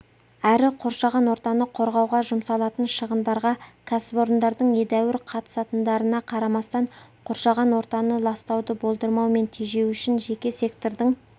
әрі қоршаған ортаны қорғауға жұмсалатын шығындарға кәсіпорындардың едәуір қатысатындарына қарамастан қоршаған ортаны ластауды болдырмау мен тежеу үшін жеке сектордың